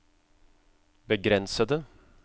begrensede